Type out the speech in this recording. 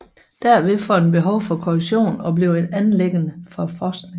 Derved får den behov for korrektion og bliver et anliggende for forskning